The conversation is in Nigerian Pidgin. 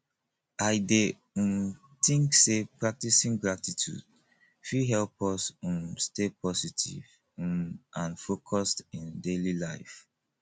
i dey um think say practicing gratitude fit help us um stay positive um and focused in daily life